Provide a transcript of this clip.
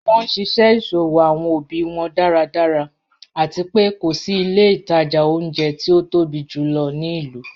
Wọn nṣiṣẹ iṣowo awọn obi wọn daradara, ati pé ko si ilẹ̀ itaja ọ̀unjẹ̀ ti o tobi júlọ̀ ni ilu.